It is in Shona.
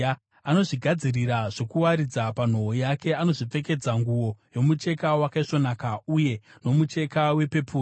Anozvigadzirira zvokuwaridza panhoo yake; anozvipfekedza nguo yomucheka wakaisvonaka, uye nomucheka wepepuru.